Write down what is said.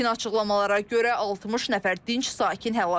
İlkin açıqlamalara görə 60 nəfər dinc sakin həlak olub.